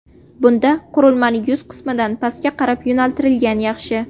Bunda qurilmani yuz qismidan pastga qarab yo‘naltirgan yaxshi.